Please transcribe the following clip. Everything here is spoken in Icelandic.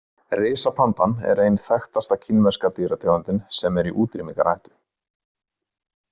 Risapandan er ein þekktasta kínverska dýrategundin sem er í útrýmingarhættu.